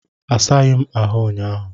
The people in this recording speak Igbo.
Asaghị m ahụ ụnyaahụ.